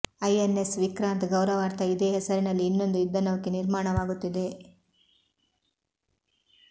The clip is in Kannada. ಐಎನ್ಎಸ್ ವಿಕ್ರಾಂತ್ ಗೌರವಾರ್ಥ ಇದೇ ಹೆಸರಿನಲ್ಲಿ ಇನ್ನೊಂದು ಯುದ್ಧ ನೌಕೆ ನಿರ್ಮಾಣವಾಗುತ್ತಿದೆ